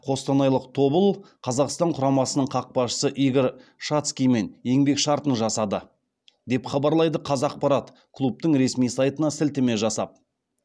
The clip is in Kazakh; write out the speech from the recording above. қостанайлық тобыл қазақстан құрамасының қақпашысы игорь шацкиймен еңбек шартын жасады деп хабарлайды қазақпарат клубтың ресми сайтына сілтеме жасап